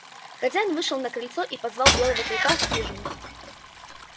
хозяин вышел на крыльцо и позвал белого клыка в хижину